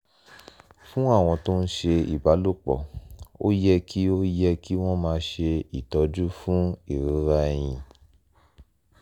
fún àwọn tó ń ṣe ìbálòpọ̀ ó yẹ kí ó yẹ kí wọ́n máa ṣe ìtọ́jú fún ìrora ẹyin